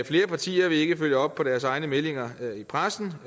flere partier vil ikke følge op på deres egne meldinger i pressen